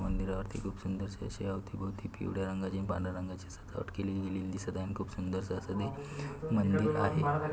मंदिरं वरती खूप सुंदर से आशे आउती भौति पिवळ्या रंग आणि पांढर्‍या रंगाचे सजावट केलेली दिसत आहे आणि खूप सुंदर आस मंदिर आहे.